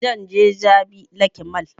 Zan je jabi lake mall